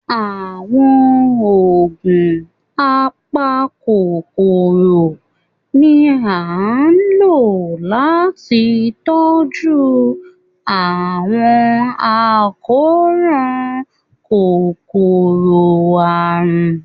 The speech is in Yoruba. Àwọn oogun apakọkọrọ ni a n lo lati tọju awọn akọran kòkọrọ-arun